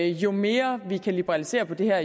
jo mere vi kan liberalisere på det her